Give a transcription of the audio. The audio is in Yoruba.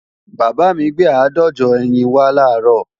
Bàbá mi gbé àádọ́jọ ẹyin wá làárọ̀